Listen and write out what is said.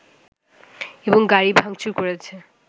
এবং গাড়ি ভাঙচুর করেছে